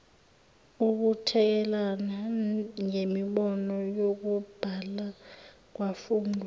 ukuthekelelana ngemibono yokubhalakwafunda